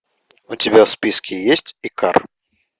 у тебя в списке есть икар